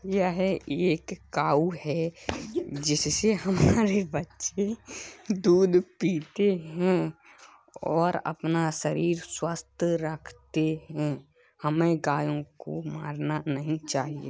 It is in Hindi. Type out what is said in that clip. यह एक काऊ है जिससे हमारे बच्चे दूध पीते हैं और अपना शरीर स्वस्थ रखते हैं। हमें गायों को मारना नहीं चाहिए।